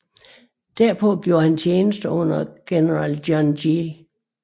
Derpå gjorde han tjeneste under general John J